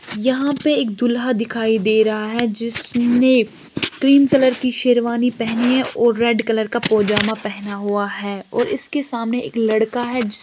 यहाँ पे एक दूल्हा दिखाई दे रहा है जिसने क्रीम कलर की शेरवानी पहनी है और रेड कलर का पैजामा पहना हुआ है और इसके सामने एक लड़का है जिस--